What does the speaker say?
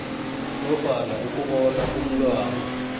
nofana ukubona umntwana